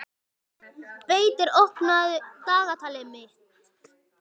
Beitir, opnaðu dagatalið mitt.